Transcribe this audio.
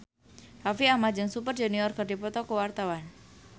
Raffi Ahmad jeung Super Junior keur dipoto ku wartawan